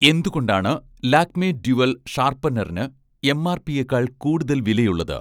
എന്തുകൊണ്ടാണ് 'ലാക്മേ' ഡ്യുവൽ ഷാർപ്പനറിന് എംആർപിയെക്കാൾ കൂടുതൽ വിലയുള്ളത്?